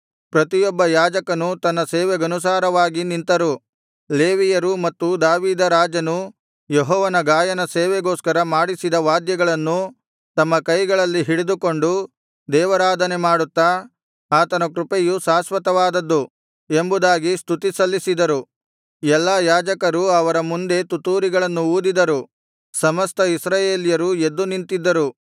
ಪ್ರತಿಯೊಬ್ಬ ಯಾಜಕನು ತನ್ನ ಸೇವೆಗನುಸಾರವಾಗಿ ನಿಂತರು ಲೇವಿಯರೂ ಮತ್ತು ದಾವೀದ ರಾಜನು ಯೆಹೋವನ ಗಾಯನ ಸೇವೆಗೋಸ್ಕರ ಮಾಡಿಸಿದ ವಾದ್ಯಗಳನ್ನು ತಮ್ಮ ಕೈಗಳಲ್ಲಿ ಹಿಡಿದುಕೊಂಡು ದೇವಾರಾಧನೆ ಮಾಡುತ್ತಾ ಆತನ ಕೃಪೆಯು ಶಾಶ್ವತವಾದದ್ದು ಎಂಬುದಾಗಿ ಸ್ತುತಿ ಸಲ್ಲಿಸಿದರು ಎಲ್ಲಾ ಯಾಜಕರು ಅವರ ಮುಂದೆ ತುತ್ತೂರಿಗಳನ್ನು ಊದಿದರು ಸಮಸ್ತ ಇಸ್ರಾಯೇಲ್ಯರು ಎದ್ದು ನಿಂತಿದ್ದರು